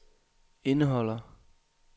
indeholder